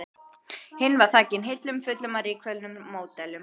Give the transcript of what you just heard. Hinn var þakinn hillum fullum af rykföllnum módelum.